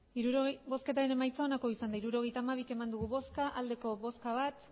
hirurogeita hamabi eman dugu bozka bat bai